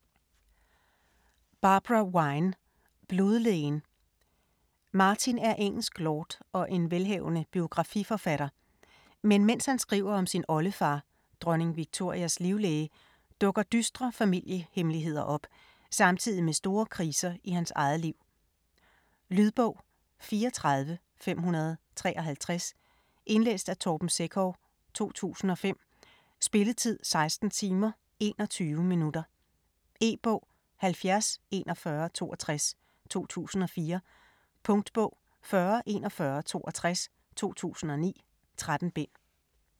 Vine, Barbara: Blodlægen Martin er engelsk lord og en velhavende biografi-forfatter. Men mens han skriver om sin oldefar, dronning Victorias livlæge, dukker dystre familiehemmeligheder op, samtidig med store kriser i hans eget liv. Lydbog 34553 Indlæst af Torben Sekov, 2005. Spilletid: 16 timer, 21 minutter. E-bog 704162 2004. Punktbog 404162 2009. 13 bind.